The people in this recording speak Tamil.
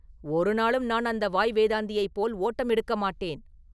ஒருநாளும் நான் அந்த வாய் வேதாந்தியைப் போல் ஓட்டம் எடுக்க மாட்டேன்.